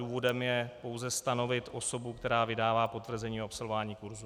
Důvodem je pouze stanovit osobu, která vydává potvrzení o absolvování kurzu.